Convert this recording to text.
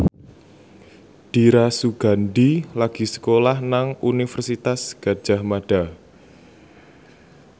Dira Sugandi lagi sekolah nang Universitas Gadjah Mada